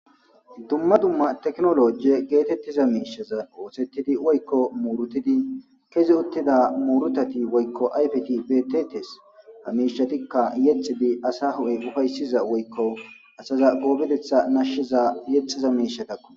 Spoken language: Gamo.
dumma dumma teknolojie geetettiza miishaza oosettidi woykko muurutidi kezi uttida muurutati woykko ayfeti beetetes ha mishatikka yexxidi asa hu7e ufayssiza woykko asaza goobedetha nashshiza yexxiza miishatakko.